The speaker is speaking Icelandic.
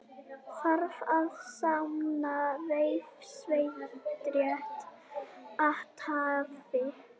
Þarf að sanna refsivert athæfi